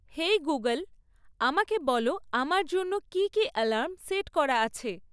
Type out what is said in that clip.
হেই Google আমাকে বল আমার জন্য কী কী অ্যালার্ম সেট করা আছে